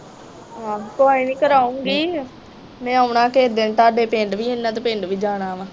ਕੋਈ ਨਹੀਂ ਕਰਾਉਗੀ ਮੈ ਆਉਣਾ ਕਿਹੇ ਦਿਨ ਤੁਹਾਡੇ ਪਿੰਡ ਵੀ ਇਹਨਾਂ ਦੇ ਪਿੰਡ ਵੀ ਜਾਣਾ ਵਾ।